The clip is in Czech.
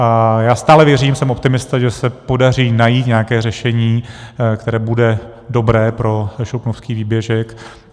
A já stále věřím - jsem optimista - že se podaří najít nějaké řešení, které bude dobré pro Šluknovský výběžek.